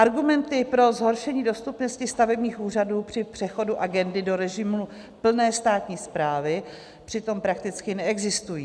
Argumenty pro zhoršení dostupnosti stavebních úřadů při přechodu agendy do režimu plné státní správy přitom prakticky neexistují.